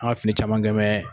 An ka fili caman kɛn mɛ.